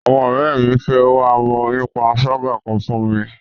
Àwọn ọ̀rẹ́ mi fẹ́ wá ọmọ onípanṣágà kan fún mi.